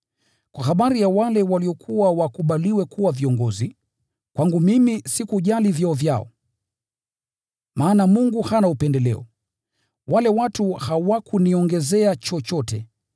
Kwa habari ya wale waliokuwa wakubaliwe kuwa viongozi (kwangu mimi sikujali vyeo vyao, maana Mungu hana upendeleo), wale watu hawakuniongezea chochote.